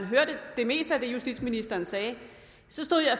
hørte det meste af det justitsministeren sagde